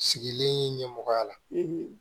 Sigilen ɲɛmɔgɔya la